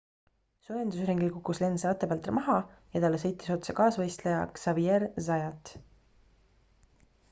soojendusringil kukkus lenz ratta pealt maha ja talle sõitis otsa kaasvõistleja xavier zayat